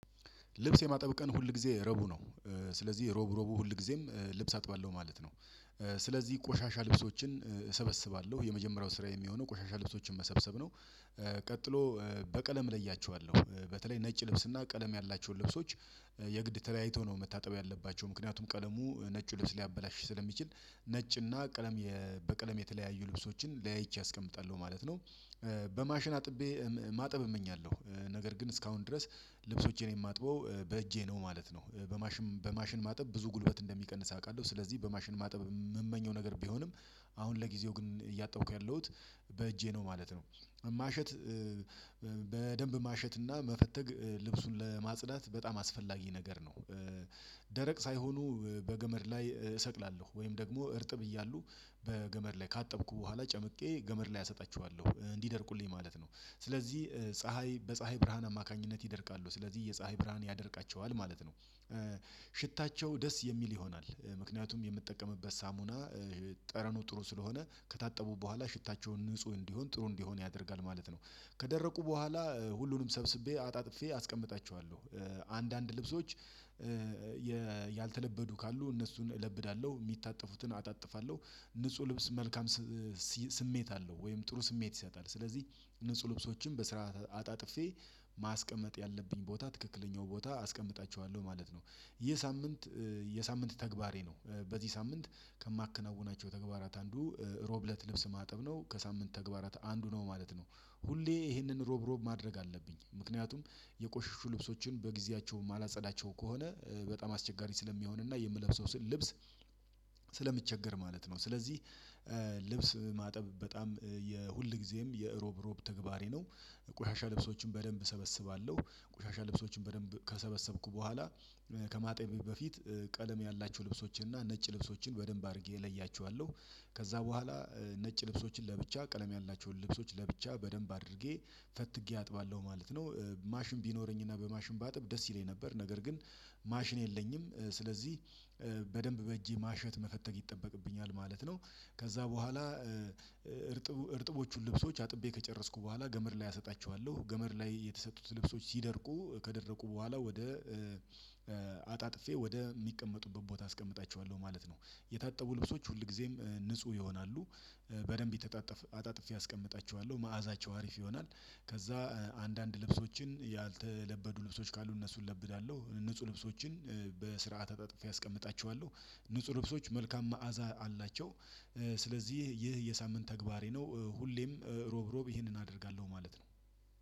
ልብስ የማጠብ ቀን ሁል ጊዜ ረቡ ነው። ስለዚህ ሮብ ሮቡ ሁል ጊዜም ልብስ አጥባለሁ ማለት ነው። ስለዚህ ቆሻሻ ልብሶችን እሰበስባለሁ የመጀመሪያው ስራየ የሚሆነው ቆሻሻ ልብሶችን መሰብሰብ ነው። ቀጥሎ በቀለም እለያቸዋለሁ በተለይ ነጭ ልብስና ቀለም ያላቸውን ልብሶች። የግድ ተለያይተው ነው መታጠብ ያለባቸው ምክንያቱም ቀለሙ ነጭ ልብስ ሊያበላሽሽ ስለሚችል ነጭ እና ቀለም በቀለም የተለያዩ ልብሶችን ለያይቼ አስቀምጣለሁ ማለት ነው። በማሽን አጥቤ ማጠብ እመኛለሁ ነገር ግን እስካሁን ድረስ ልብሶቼን የማጥበው በእጄ ነው ማለት ነው። በማሽን ማጠብ ብዙ ጉልበት እንደሚቀንስ አውቃለሁ ስለዚህ በማሽን ማጠብ የምመኘው ነገር ቢሆንም አሁን ለጊዜው ግን እያጠብሁ ያለሁት በእጄ ነው ማለት ነው። ማሸት በደንብ ማሸትና መፈተግ ልብሱን ለማጽዳት በጣም አስፈላጊ ነገር ነው። ደረቅ ሳይሆኑ በገመድ ላይ እሰቅላለሁ ወይም ደግሞ እርጥብ እያሉ በገመድ ላይ ካጠብኩ በኋላ ጨምቄ ገመድ ላይ አሰጣችኋለሁ እንዲደርቁልኝ ማለት ነው። ስለዚህ ፀሀይ በፀሀይ ብርሃን አማካኝነት ይደርቃሉ ስለዚህ የፀሀይ ብርሃን ያደርቃቸዋል ማለት ነው። ሽታቸው ደስ የሚል ይሆናል ምክንያቱም የምጠቀምበት ሳሙና ጠረኑ ጥሩ ስለሆነ ከታጠቡ በኋላ ሽታቸውን ንጹህ እንዲሆን ጥሩ እንዲሆን ያደርጋል ማለት ነው። ከደረቁ በኋላ ሁሉንም ሰብስቤ አጣጥፌ አስቀምጣችኋለሁ አንዳንድ ልብሶች ያልተለበዱ ካሉ እነሱን እለብዳለሁ የሚታጠፉትን አጣጥፋለሁ። ንጹህ ልብስ መልካም ስሜት አለው ወይም ጥሩ ስሜት ይሰጣል ስለዚህ ንጹህ ልብሶችን በስርዓት አጣጥፌ ማስቀመጥ ያለብኝ ቦታ ትክክለኛው ቦታ አስቀምጣቸዋለሁ ማለት ነው። ይህ ሳምንት የሳምንት ተግባሬ ነው በዚህ ሳምንት ከማከናውናቸው ተግባራት አንዱ ሮብ እለት ልብስ ማጠብ ነው ከሳምንት ተግባራት አንዱ ነው ማለት ነው። ሁሌ ይሄንን ሮብ ሮብ ማድረግ አለብኝ ምክንያቱም የቆሽሹ ልብሶችን በጊዜያቸው የማላጸዳቸው ከሆነ በጣም አስቸጋሪ ስለሚሆን እና የምለብሰው ልብስ። ስለምቸገር ማለት ነው ስለዚህ ልብስ ማጠብ በጣም የሁል ጊዜም የእሮብ እሮብ ተግባሬ ነው። ቆሻሻ ልብሶችን በደንብ እሰበስባለሁ ቆሻሻ ልብሶችን በደንብ ከሰበሰብኩ በኋላ ከማጠቤ በፊት ቀለም ያላችሁ ልብሶችን እና ነጭ ልብሶችን በደንብ አድርጌ እለያቸዋለሁ። ከዛ በኋላ ነጭ ልብሶችን ለብቻ ቀለም ያላቸውን ልብሶች ለብቻ በደንብ አድርጌ ፈትጌ አጥባለሁ ማለት ነው። ማሽን ቢኖረኝና በማሽን ባጥብ ደስ ይለኝ ነበር ነገር ግን ማሽን የለኝም። ስለዚህ በደንብ በእጄ ማሸት መፈተግ ይጠበቅብኛል ማለት ነው። ከዛ በኋላ እርጥብ እርጥቦቹን ልብሶች አጥቤ ከጨረስኩ በኋላ ገመድ ላይ አሰጣቸዋለሁ ገመድ ላይ የተሰጡት ልብሶች ሲደርቁ ከደረቁ በኋላ ወደ አጣጥፌ ወደ ሚቀመጡበት ቦታ አስቀምጣቸዋለሁ ማለት ነው። የታጠቡ ልብሶች ሁል ጊዜም ንጹህ ይሆናሉ። በደንብ አጣጥፌ አስቀምጣችኋለሁ መዓዛቸው አሪፍ ይሆናል። ከዛ አንዳንድ ልብሶችን ያልተለበዱ ልብሶች ካሉ እነሱን እለብዳለሁ ንጹህ ልብሶችን በስርዓት አጥፌ አስቀምጣቸዋለሁ። ንጹህ ልብሶች መልካም መዓዛ አላቸው። ስለዚህ ይህ የሳምንት ተግባሬ ነው ሁሌም ሮብ ሮብ ይሄንን አደርጋለሁ ማለት ነው።